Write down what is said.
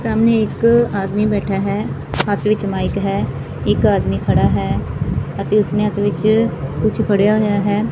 ਸਾਹਮਣੇ ਇੱਕ ਆਦਮੀ ਬੈੱਠਾ ਹੈ ਹੱਥ ਵਿਚ ਮਾਈਕ ਹੈ ਇੱਕ ਆਦਮੀ ਖੜਾ ਹੈ ਅਤੇ ਉਸਨੇ ਹੱਥ ਵਿਚ ਕੁਝ ਫੜਿਆ ਹੋਇਆ ਹੈ।